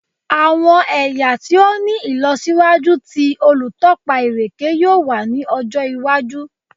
Awọn ẹya ti o ni ilọsiwaju ti olutọpa ireke yoo wa ni ọjọ iwaju